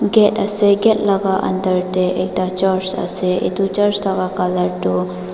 gate ase gate laga under tey ekta church ase itu church laga color tu.